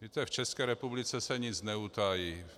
Víte, v České republice se nic neutají.